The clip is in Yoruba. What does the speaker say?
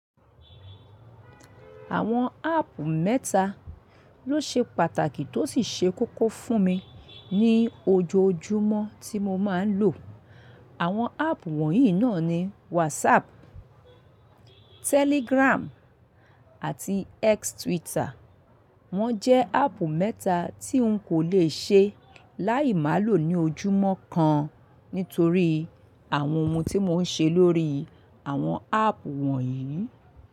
Àwọn áàpù mẹ́ta ló ṣe pàtàkì tó sì ṣe kókó fún mi ní ojoojúmọ́ tí mo máa ń lò. Àwọn áàpù wọ̀nyí náà ni WhatsApp, Telegram àti X Twitter. Wọ́n jẹ́ áàpù mẹ́ta tí wun kò lè ṣe láì má lò ní ojúmọ́ kan nítorí àwọn ohun tí mò ń ṣe lórí àwọn áàpù wọ̀nyí.